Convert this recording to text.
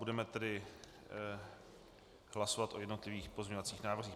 Budeme tedy hlasovat o jednotlivých pozměňovacích návrzích.